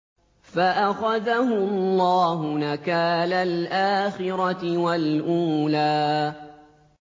فَأَخَذَهُ اللَّهُ نَكَالَ الْآخِرَةِ وَالْأُولَىٰ